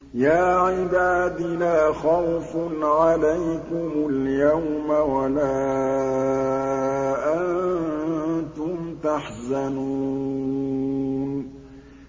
يَا عِبَادِ لَا خَوْفٌ عَلَيْكُمُ الْيَوْمَ وَلَا أَنتُمْ تَحْزَنُونَ